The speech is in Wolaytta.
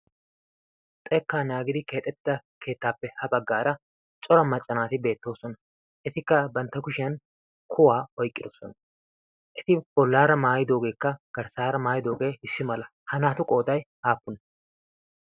xekkaa naagidi keexettida keettaappe ha baggaara cora maccanaati beettoosona etikka bantta kushiyan kuwaa oiqqidosona eti bollaara maayidoogeekka garssaara maayidoogee hissi mala ha naatu qooday aappune?